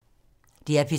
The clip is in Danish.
DR P3